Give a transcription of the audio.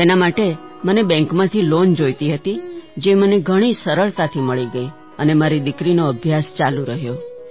તેના માટે મને બૅન્કમાંથી લૉન જોઈતી હતી જે મને ઘણી સરળતાથી મળી ગઈ અને મારી દીકરીનો અભ્યાસ ચાલુ રહ્યો